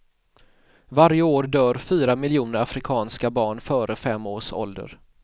Varje år dör fyra miljoner afrikanska barn före fem års ålder.